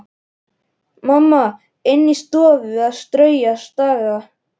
Mamma inni í stofu að strauja og staga.